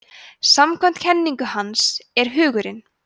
samkvæmt kenningu hans er hugurinn